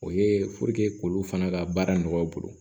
O ye k'olu fana ka baara nɔgɔya u bolo